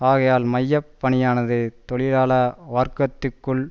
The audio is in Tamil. ஆகையால் மைய பணியானது தொழிலாள வர்க்கத்துக்குள்